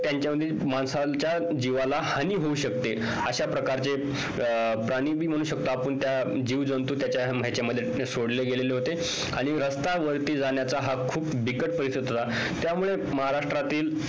त्यांच्या माणसाच्या जीवाला हानी होऊ शकते अशा प्रकारचे प्राणी पण म्हणू शकतो आपण जीवजंतू त्याच्या ह्याच्या मध्ये सोडले गेलेले होते आणि रस्ता वरती जाण्याचा हा खूप बिकट होता त्यामुळे महाराष्ट्रातील